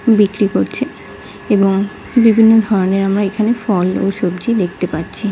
বিক্রি করছে এবং বিভিন্ন ধরনের আমরা এখানে ফল ও সবজি দেখতে পাচ্ছি ।